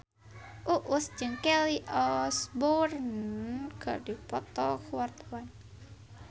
Uus jeung Kelly Osbourne keur dipoto ku wartawan